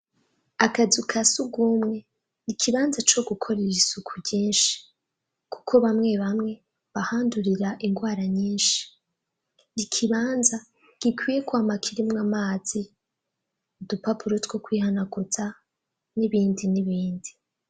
Akazu ka sugumwe. Ikibanza co gukorera isuku ryinshi, kuko bamwe bamwe bahandurira indwara nyinshi. Ikibanza gikwiye kwama kirimwo amazi, udupapuro two kwihanaguza n'ibindi n'ibindi.